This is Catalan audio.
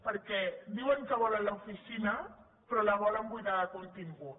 perquè diuen que volen l’oficina però la volen buidar de contingut